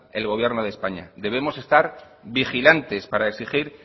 el gobierno de españa debemos estar vigilantes para exigir